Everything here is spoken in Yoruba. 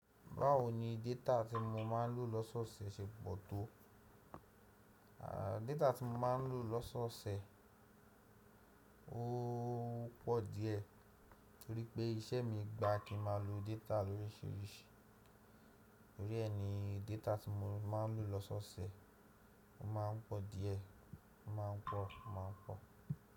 Báwo ni data tí mo máa ń lò lọ́sọ̀ọ̀sẹ̀ ṣe pọ̀ tó? Data tí mo máa ń lò lọ́sọ̀ọ̀sẹ̀ ó pọ̀ díẹ̀ torí pé iṣẹ́ mi gba kí ma lo data loríṣiríṣi. Nítorí ẹ ni data tí mo máa ń lò lọ́sọ̀ọ̀sẹ̀ máa ń pọ̀ díẹ̀, ó máa ń pọ̀, ó máa ń pọ̀.